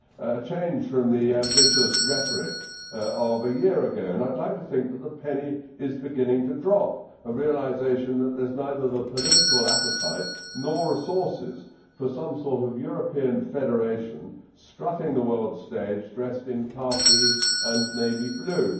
A change from the ambitious rhetoric of a year ago and I would like to think that the penny is beginning to drop a realisation that there is neither the political appetite nor the resources for some sort of European Federation strutting the world's stage stressed in khaki and navy blue.